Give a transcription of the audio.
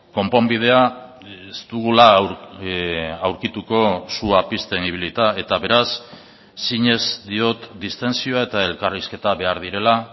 konponbidea ez dugula aurkituko sua pizten ibilita eta beraz sines diot distentsioa eta elkarrizketa behar direla